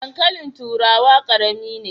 Dankalin turawa karami ne.